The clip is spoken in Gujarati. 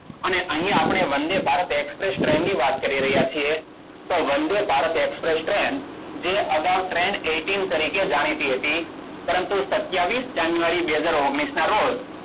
અને અહીંયા આપણી વંદે ભારત એક્સપ્રેસ ટ્રેનની વાત કરી રહ્યા છીએ. તો વંદે ભારત એક્સપ્રેસ ટ્રેન જે અગાઉ ટ્રેન eighteen તરીકે જાણીતી હતી. પરંતુ, સત્તાવીસ જાન્યુઆરી બેહજાર ઓગણીસના રોજ